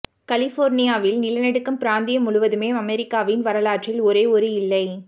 கலிபோர்னியாவில் நிலநடுக்கம் பிராந்தியம் முழுவதுமே அமெரிக்காவின் வரலாற்றில் ஒரே ஒரு இல்லை